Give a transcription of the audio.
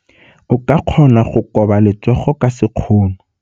O ka kgona go koba letsogo ka sekgono.